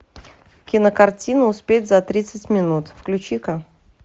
кинокартина успеть за тридцать минут включи ка